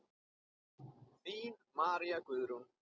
Þín María Guðrún.